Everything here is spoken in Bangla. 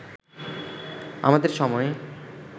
আমাদের সময়ে